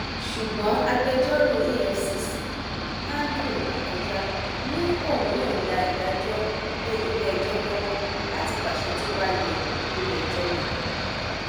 ṣùgbọn agbẹjọrò efcc andrew akọjá ní òún yọǹda ìdájọ lé iléẹjọ lọwọ láti pàṣẹ tó bá yẹ lórí ẹjọ náà